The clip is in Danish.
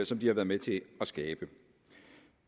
som de har været med til at skabe